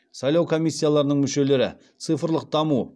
сайлау комиссияларының мүшелері цифрлық даму